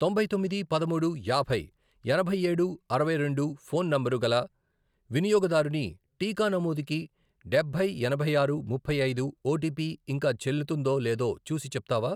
తొంభై తొమ్మిది, పదమూడు, యాభై, ఎనభై ఏడు, అరవై రెండు, ఫోన్ నంబరు గల వినియోగదారుని టీకా నమోదుకి డబ్బై, ఎనభై ఆరు, ముప్పై ఐదు, ఓటీపీ ఇంకా చెల్లుతుందో లేదో చూసి చెప్తావా?